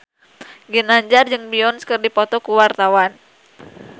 Ginanjar jeung Beyonce keur dipoto ku wartawan